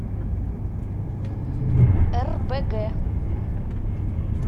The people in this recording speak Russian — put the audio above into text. рбг